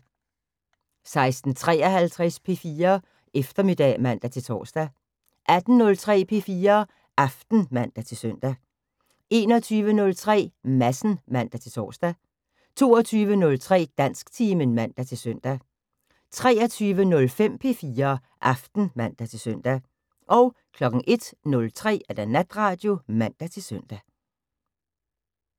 16:53: P4 Eftermiddag (man-tor) 18:03: P4 Aften (man-søn) 21:03: Madsen (man-tor) 22:03: Dansktimen (man-søn) 23:05: P4 Aften (man-søn) 01:03: Natradio (man-søn)